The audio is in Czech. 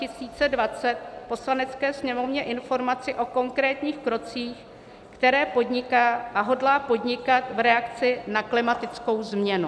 Poslanecké sněmovně informaci o konkrétních krocích, které podniká a hodlá podnikat v reakci na klimatickou změnu.